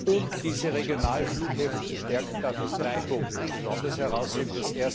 Um diese Regionalflughäfen zu stärken, darf ich drei Punkte besonders herausheben.